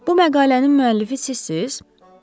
Bu məqalənin müəllifi sizsiz?